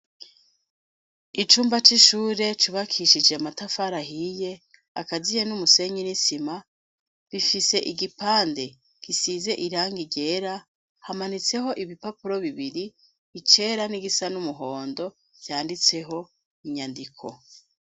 Icumba c'ishure cubakishije amatafarahiye akaziye n'umusenyi n'isima bifise igipande gisize irangiryera hamanitseho ibipapuro bibiri icera n'igisa n'umuhondo vyanditseho inyandiko.